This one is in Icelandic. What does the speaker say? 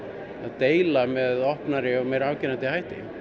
deila með opnari og meira afgerandi hætti